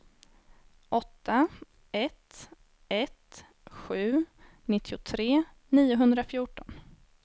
åtta ett ett sju nittiotre niohundrafjorton